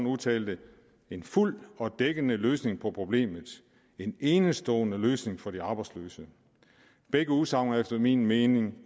udtalte en fuldt ud dækkende løsning på problemet en enestående løsning for de arbejdsløse begge udsagn er efter min mening